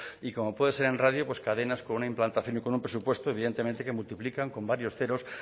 y como puede ser en radio pues cadenas con una implantación y con un presupuesto evidentemente que multiplican con varios ceros